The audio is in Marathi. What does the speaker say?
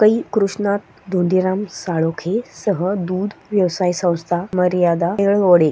कै कृष्णात धोंडीराम साळोखे सह दुध व्यवसाय संस्था मर्यादा येळवडे--